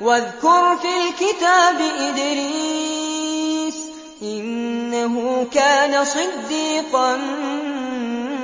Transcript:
وَاذْكُرْ فِي الْكِتَابِ إِدْرِيسَ ۚ إِنَّهُ كَانَ صِدِّيقًا